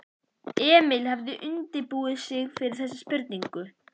Emil hafði undirbúið sig fyrir þessa spurningu.